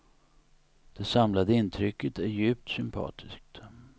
Det samlade intrycket är djupt sympatiskt.